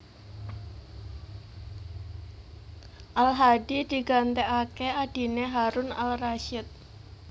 Al Hadi digantèkaké adhiné Harun al Rashid